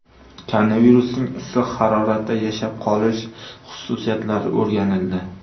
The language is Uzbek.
Koronavirusning issiq haroratda yashab qolish xususiyatlari o‘rganildi.